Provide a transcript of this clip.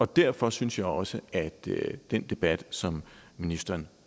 derfor synes jeg også at den debat som ministeren